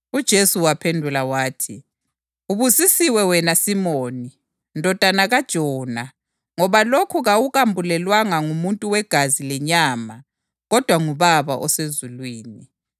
Ngakho ngiyakutshela ukuthi unguPhethro + 16.18 Ibala lesiGrikhi elithi Phethro litsho idwala. njalo phezu kwalelidwala ngizakwakha ibandla lami, futhi amasango eHadesi akayikulehlula.